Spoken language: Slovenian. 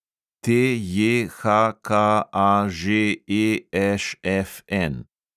TJHKAŽEŠFN